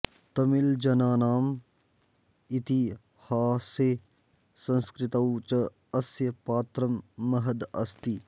तमिऴ्जनानाम् इतिहासे संस्कृतौ च अस्य पात्रं महद् अस्ति